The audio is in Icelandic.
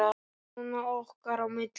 Svona okkar á milli.